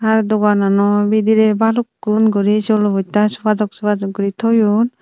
deganono bidire balukun guri solo bosta soga sok soga sok guri toyon.